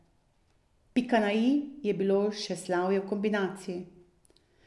Pika na i je bilo še slavje v kombinaciji.